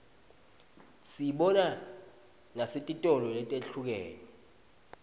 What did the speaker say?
siyibona nesetitolo letihlukene